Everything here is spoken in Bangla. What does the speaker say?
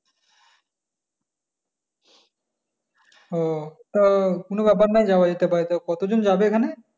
হ্যাঁ তো কোনো ব্যাপার নয় যাওয়া যেতে পারে তা কতজন যাবে এখানে?